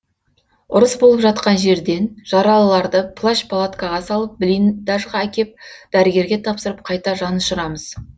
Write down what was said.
ұрыс болып жатқан жерден жаралыларды плащ палаткаға салып блиндажға әкеп дәрігерге тапсырып қайта жанұшырамыз